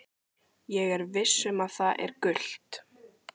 Ég er viss um að það er gult?